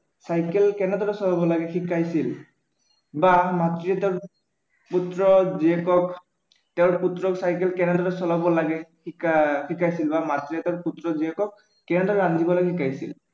cycle কেনেদৰে চলাব লাগে শিকাইছিল বা মাতৃয়ে তেওঁৰ পুত্ৰ জীয়েকক তেওঁ পুত্ৰক চাইকেল কেনেদৰে চলাব লাগে শিকাইছিল বা মাতৃয়ে তেওঁৰ পুত্ৰ-জীয়েকক কেনেদৰে ৰান্ধিবলৈ শিকাইছিল